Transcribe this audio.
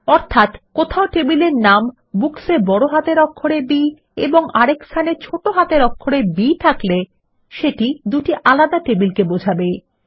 অর্থাত টেবিল এর নাম Books এ বড় হাতের অক্ষরে b এবং আরেক স্থানে ছোট হাতের অক্ষরে b থাকলে সেটি দুটি আলাদা টেবিলকে বোঝায়